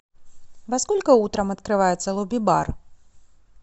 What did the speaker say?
во сколько утром открывается лобби бар